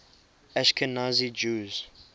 ashkenazi jews